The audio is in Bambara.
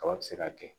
Kaba ti se ka kɛ